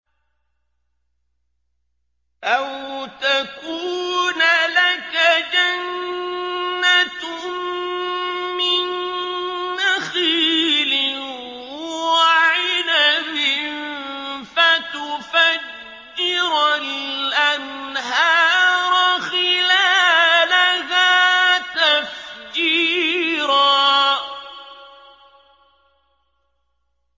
أَوْ تَكُونَ لَكَ جَنَّةٌ مِّن نَّخِيلٍ وَعِنَبٍ فَتُفَجِّرَ الْأَنْهَارَ خِلَالَهَا تَفْجِيرًا